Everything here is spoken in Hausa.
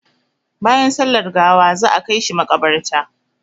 Bayan sallar gawa za a kai shi maƙabarta.